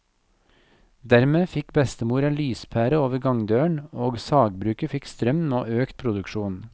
Dermed fikk bestemor en lyspære over gangdøren, og sagbruket fikk strøm og økt produksjon.